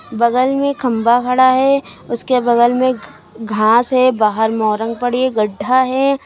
बगल में खंबा खड़ा है उसके बगल में घास है बाहर मौरंग पड़ी है गड्ढा है।